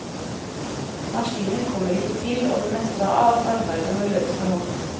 Maskiner kommer ikke til, og det meste av arbeidet må gjøres for hånd.